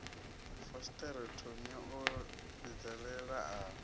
fasiṱere thomi a vhidzelela a